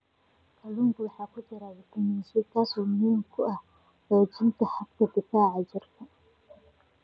Kalluunka waxaa ku jira fitamiin C, kaas oo muhiim u ah xoojinta habka difaaca jirka.